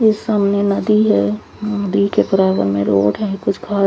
ये सामने नदी हे --